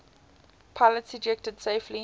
pilots ejected safely